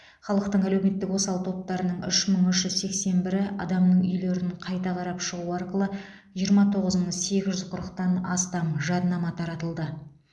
халықтың әлеуметтік осал топтарының үш мың үш жүз сексен бірі адамның үйлерін қайта қарап шығу арқылы жиырма тоғыз мың сегіз жүз қырықтан астам жадынама таратылды